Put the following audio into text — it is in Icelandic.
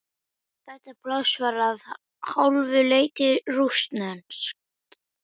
Þetta pláss var að hálfu leyti rússneskt.